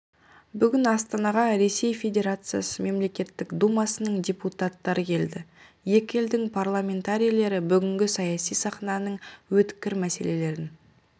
бүгін астанаға ресей федерациясы мемлекеттік думасының депутаттары келді екі елдің парламентарилері бүгінгі саяси сахнаның өткір мәселелерін